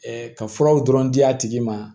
ka furaw dɔrɔn di a tigi ma